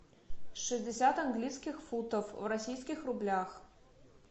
шестьдесят английских фунтов в российских рублях